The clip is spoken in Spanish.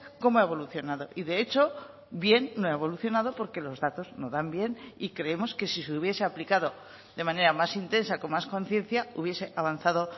cómo ha evolucionado y de hecho bien no ha evolucionado porque los datos no dan bien y creemos que si se hubiese aplicado de manera más intensa con más conciencia hubiese avanzado